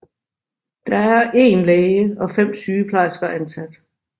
Der er en læge og fem sygeplejersker ansat